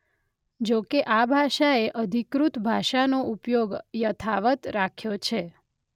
જોકે આ ભાષાએ અધિકૃત ભાષાનો ઉપયોગ યથાવત રાખ્યો છે.